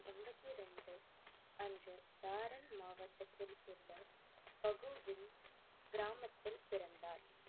அன்று தாரன் மாவட்டத்தில் உள்ள பகுவின் கிராமத்தில் பிறந்தார்.